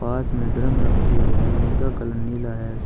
पास में ड्रम रखे हुए हैं जिनका कलर नीला है।